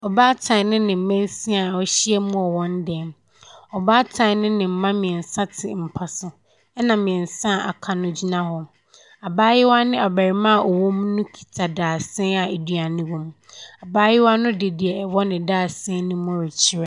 Ɔbaatan ne ne mma nsia a wɔahyia mu wɔ wɔn dan mu. Ɔbaatan ne ne mma mmeɛnsa te mpa so, ɛna mmeɛnsa a wɔaka no gyina hɔ. Abaayewa ne abarimaa a wɔwɔ mu no kita dadesɛn a aduane wɔ mu. Abaayewa no de deɛ ɛwɔ ne dandesɛn no mu rekyerɛ.